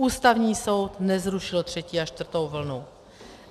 Ústavní soud nezrušil třetí a čtvrtou vlnu.